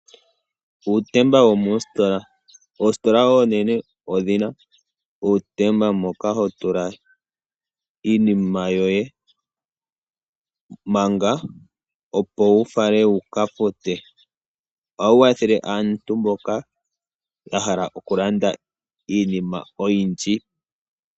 Uutemba womoositola. Oositola oonene odhina uutemba mboka ho tula iinima yoye manga, opo wu fale wuka fute. Ohawu kwathele aantu mboka ya hala okulanda iinima oyindji.